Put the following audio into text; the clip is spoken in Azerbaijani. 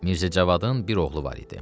Mirzəcavadın bir oğlu var idi.